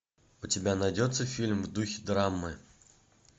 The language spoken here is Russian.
у тебя найдется фильм в духе драмы